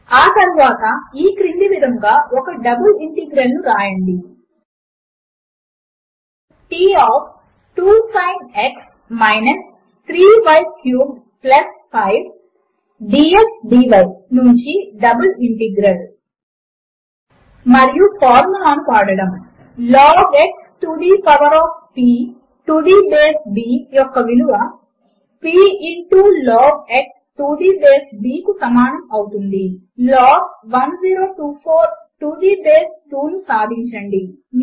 ఆ తరువాత ఈ క్రింది విధముగా ఒక డబుల్ ఇంటిగ్రల్ ను వ్రాయండి T of 2 sin x - 3 y cubed 5 dx dy నుంచి డబుల్ ఇంటిగ్రల్ మరియు ఫార్ములా ను వాడడము log x to the power of p to the base b యొక్క విలువ p into log x to the base b కు సమానము అవుతుంది లాగ్ 1024 టు ది బేస్ 2 ను సాధించండి